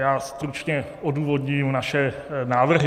Já stručně odůvodním naše návrhy.